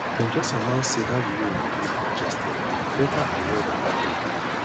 dem just announce say that road dey congested better avoid am today